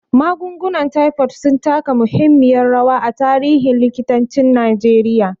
Magungunan taifod sun taka muhimmiyar rawa a tarihin likitancin Najeriya.